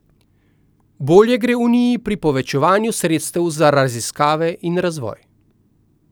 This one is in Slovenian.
Bolje gre uniji pri povečevanju sredstev za raziskave in razvoj.